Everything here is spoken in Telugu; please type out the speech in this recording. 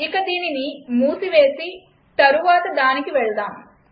ఇక దీనిని మూసేసి తరువాత దానికి వెళ్దాం